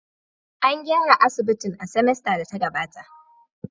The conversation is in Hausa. An gyara asibitin a semester da ta gabata